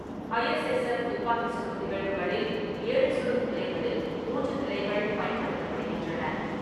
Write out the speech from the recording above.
ஐ S S F. துப்பாக்கி சுடும் நிகழ்வுகளில், ஏழு சுடும் நிலைகளில் மூன்று நிலைகள் பயன்படுத்தப்படுகின்றன.